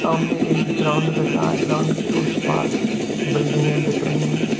सामने एक ग्राउंड दिखा है ग्राउंड के उस पार बिल्डिंग में दिख रही हैं।